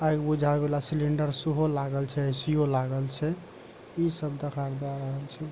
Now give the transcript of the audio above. आग बुझाबे वाला सिलिंडर सेहो लागल छै ए.सी यो लागल छै इ सब दखाब दे रहल छै ।